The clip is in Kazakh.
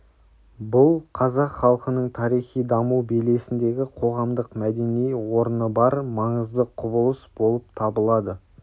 бұл қазақ халқының тарихи даму белесіндегі қоғамдық-мәдени орны бар маңызды құбылыс болып табылады